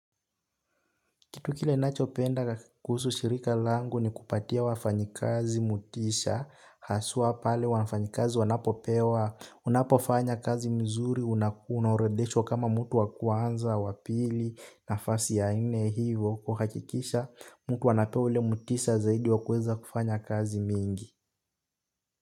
Kitu kile nachopenda kuhusu shirika langu ni kupatia wafanyikazi motisha, haswa pale wafanyikazi wanapopewa, unapofanya kazi mzuri, unakuna orodheshwa kama mtu wakwanza, wapili, nafasi ya nne hivyo, kuhakikisha mtu anapea ule motisha zaidi wa kuweza kufanya kazi mingi.